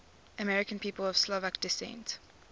american people of slovak descent